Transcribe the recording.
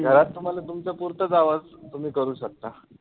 घरात तुम्हाला तुमच्या पुरताच आवाज तुम्ही करू शकता.